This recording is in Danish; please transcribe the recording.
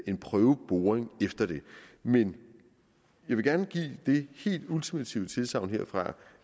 en prøveboring efter det men jeg vil gerne give det helt ultimative tilsagn herfra